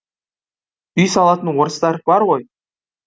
үй салатын орыстар бар ғой